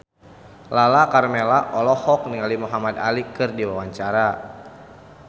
Lala Karmela olohok ningali Muhamad Ali keur diwawancara